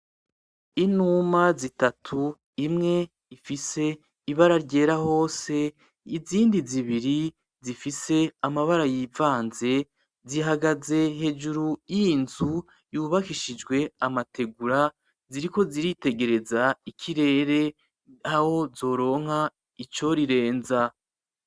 Inuma zitatu imwe ifise ibara ryera hose izindi zibiri zifise amabara yivanze, zihagaze hejuru y'iyi nzu yubakishijwe amategura, ziriko ziritegereza ikirere aho zoronka icorirenza.